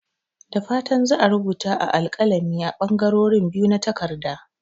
Da fatan za a rubuta a alkalami a ɓangarorin biyu na takarda.